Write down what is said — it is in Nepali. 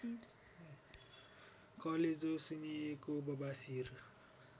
कलेजो सुन्निएको बबासिर